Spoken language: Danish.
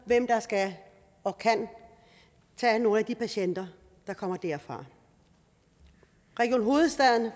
af hvem der skal og kan tage nogle af de patienter der kommer derfra region hovedstaden